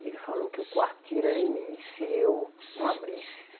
E ele falou que o quarto tiro era em mim se eu não abrisse.